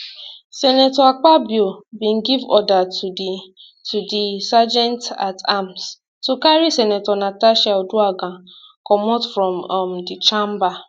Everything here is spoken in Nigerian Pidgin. senator akpabio bin give order to di to di sergeantatarms to carry senator natasha uduaghan comot from um di chamber